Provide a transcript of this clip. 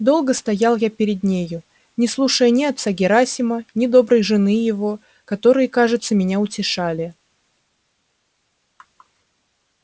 долго стоял я перед нею не слушая ни отца герасима ни доброй жены его которые кажется меня утешали